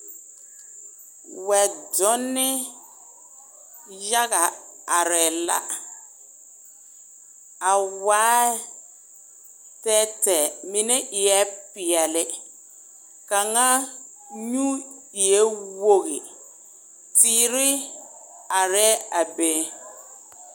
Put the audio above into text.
Weɛ donne yaga are la a waɛ tɛtɛɛ mine eɛ pɛɛle kaŋ nyuuŋ eɛ wogi teere are a be